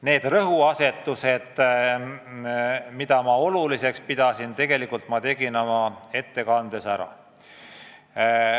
Need rõhuasetused, mida ma oluliseks pidasin, ma märkisin oma ettekandes ära.